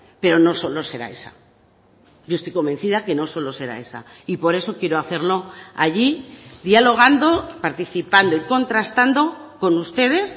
pero no solo será esa yo estoy convencida que no solo será esa y por eso quiero hacerlo allí dialogando participando y contrastando con ustedes